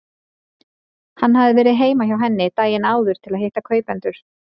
Hann hafði verið heima hjá henni daginn áður til að hitta kaupendur.